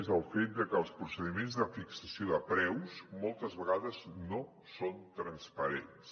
és el fet que els procediments de fixació de preus moltes vegades no són transparents